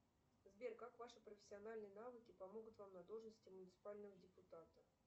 сбер как ваши профессиональные навыки помогут вам на должности муниципального депутата